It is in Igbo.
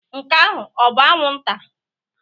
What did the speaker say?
Nke ahụ ọ bụ anwụnta?